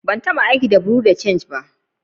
Ban tabba aiki da bureau de change ba.